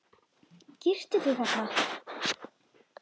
Girtu þig, þarna!